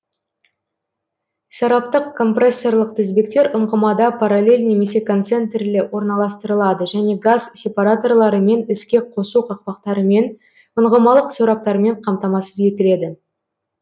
сораптық компрессорлық тізбектер ұңғымада параллель немесе концентрлі орналастырылады және газ сепараторларымен іске қосу қақпақтарымен ұңғымалық сораптармен қамтамасыз етіледі